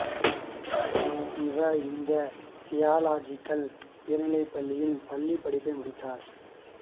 இவர் இந்து தியாலாஜிகல் உயர்நிலைப் பள்ளியில் பள்ளிப் படிப்பை முடித்தார்